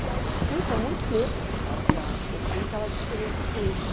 E aí eu fui com muito medo para a sala de aula, porque eu tinha aquelas experiências ruins.